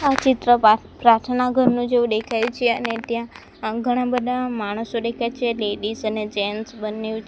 આ ચિત્ર પ્રા પ્રાર્થના ઘરનું જેવું ડેખાય છે અને ટ્યાં ઘણા બધા માણસો ડેખાય છે લેડીઝ અને જેન્ટસ બંનેવ છ--